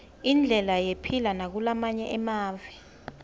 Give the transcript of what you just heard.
indlela yephila nabakulamange emave